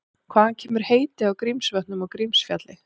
Hvaðan kemur heitið á Grímsvötnum og Grímsfjalli?